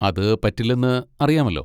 അത് പറ്റില്ലെന്ന് അറിയാമല്ലോ.